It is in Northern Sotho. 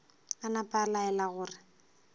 a napa a laela gore